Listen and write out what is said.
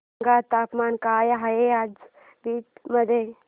सांगा तापमान काय आहे आज बीड मध्ये